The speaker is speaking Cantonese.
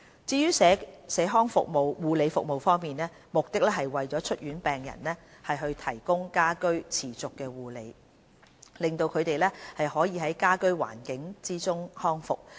至於社康護理服務方面，目的是為出院病人提供家居持續護理，令他們可以在家居環境中康復。